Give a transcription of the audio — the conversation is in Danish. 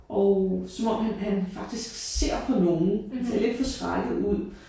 Og som om han han faktisk ser på nogen. Han ser lidt forskrækket ud